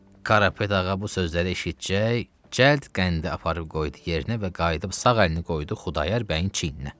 Qarapet ağa bu sözləri eşitcək, cəld qəndi aparıb qoydu yerinə və qayıdıb sağ əlini qoydu Xudayar bəyin çiyninə.